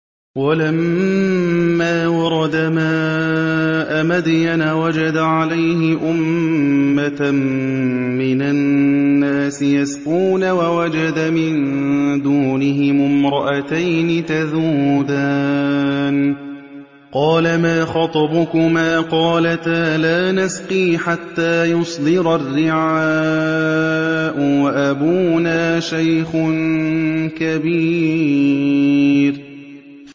وَلَمَّا وَرَدَ مَاءَ مَدْيَنَ وَجَدَ عَلَيْهِ أُمَّةً مِّنَ النَّاسِ يَسْقُونَ وَوَجَدَ مِن دُونِهِمُ امْرَأَتَيْنِ تَذُودَانِ ۖ قَالَ مَا خَطْبُكُمَا ۖ قَالَتَا لَا نَسْقِي حَتَّىٰ يُصْدِرَ الرِّعَاءُ ۖ وَأَبُونَا شَيْخٌ كَبِيرٌ